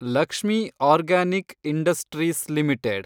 Lakshmi organic industries limited